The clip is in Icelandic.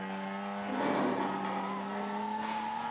Ég mundi samt ekki hvert.